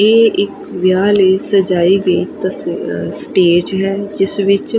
ਇਹ ਇੱਕ ਵਿਆਹ ਲਈ ਸਜਾਈ ਗਈ ਸਟੇਜ ਹੈ ਜਿਸ ਵਿੱਚ--